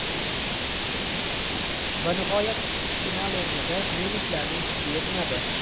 Va nihoyat final o‘yinida nemislarning kuchi yetmadi.